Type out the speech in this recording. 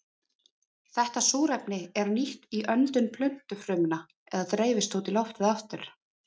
Þetta súrefni er nýtt í öndun plöntufrumna eða dreifist út í loftið aftur.